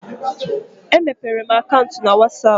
E mepere m akaụntụ na whatsapp